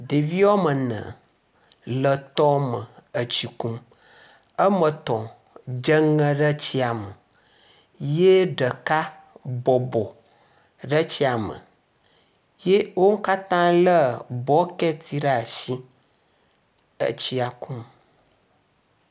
Ɖevi woamene le tɔ me etsi. Woametɔ̃ dzeŋe ɖe tsia me ye ɖeka bɔbɔ ɖe tsia me. Wo katã lé bɔkiti ɖe asi, etsia kum